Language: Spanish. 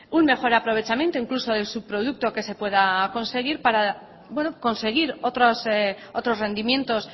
un mejor aprovechamiento incluso del subproducto que se pueda conseguir para bueno conseguir otros rendimientos